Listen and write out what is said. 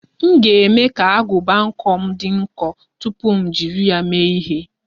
M ga-eme ka agụba nkwọ m dị nkọ tupu m jiri ya mee ihe.